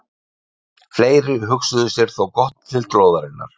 Fleiri hugsuðu sér þó gott til glóðarinnar.